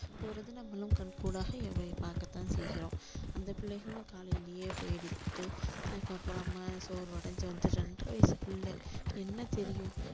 போறது நம்மளும் கண்கூடாக பாக்க தான் செய்கிறோம் அந்த பிள்ளைகளும் காலையிலயே போயிட்டு அதுக்கப்புறமா சோர்வடைஞ்சு வந்து ரெண்டரை வயசு பிள்ளை என்ன தெரியும்